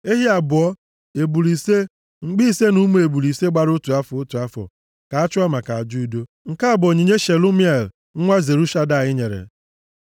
ehi abụọ, ebule ise, mkpi ise na ụmụ ebule ise gbara otu afọ, otu afọ, ka a chụọ maka aja udo. Nke a bụ onyinye Shelumiel nwa Zurishadai nyere.